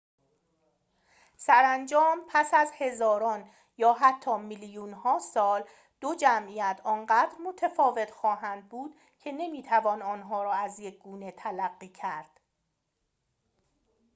سرانجام پس از هزاران یا حتی میلیون‌ها سال دو جمعیت آنقدر متفاوت خواهند بود که نمی‌توان آنها را از یک گونه تلقی کرد